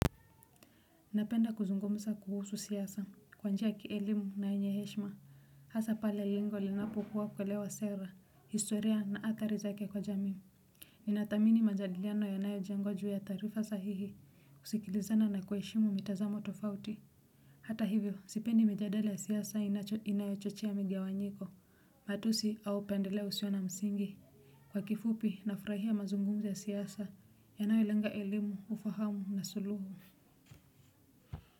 Napenda kuzungumza kuhusu siasa kwa njia ya kielimu na yenye heshma hasa pale lengo linapokuwa kuelewa sera historia na athari zake kwa jamii. Ninathamini majadiliano yanayo jengwa juu ya taarifa sahihi kusikilizana na kuheshimu mitazamo tofauti. Hata hivyo sipendi mijadala ya siasa inayo chochea migawanyiko matusi au pendeleo usio na msingi. Kwa kifupi nafrahia mazungumzo ya siasa yanayolenga elimu ufahamu na suluhu.